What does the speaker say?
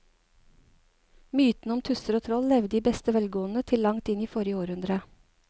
Mytene om tusser og troll levde i beste velgående til langt inn i forrige århundre.